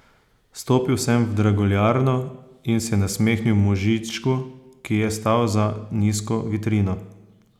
Stopil sem v draguljarno in se nasmehnil možičku, ki je stal za nizko vitrino.